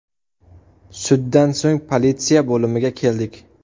Suddan so‘ng politsiya bo‘limiga keldik.